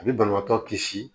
A bɛ banabaatɔ kisi